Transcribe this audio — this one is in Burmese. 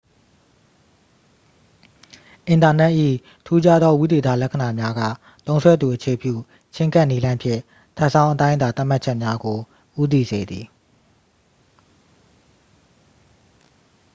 အင်တာနက်၏ ထူးခြားသော ဝိသေသလက္ခဏာများက သုံးစွဲသူအခြေပြုချဉ်းကပ်နည်းလမ်းဖြင့် ထပ်ဆောင်းအတိုင်းအတာ သတ်မှတ်ချက်များကို ဦးတည်စေသည်